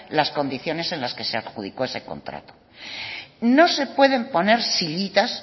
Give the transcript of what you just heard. las condiciones en las que se adjudicó ese contrato no se pueden poner sillitas